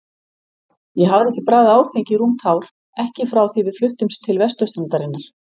Ég hafði ekki bragðað áfengi í rúmt ár, ekki frá því við fluttumst til vesturstrandarinnar.